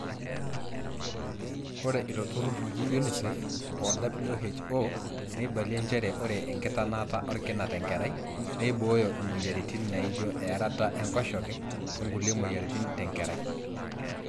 ore ilo turrur oji UNICEF o WHO neibalie njere ore enkitanaata orkina tenkerai neibooyo imweyiaritin naijo earata enkoshoke onkulie mweyiaritin tenkerai